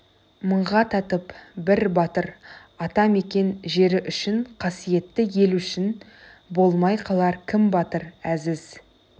мыңға татып бір батыр ата мекен жері үшін қасиетті ел үшін болмай қалар кім батыр әзіз